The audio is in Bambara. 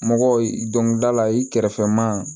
Mɔgɔw i dɔnkilidala i kɛrɛfɛ maa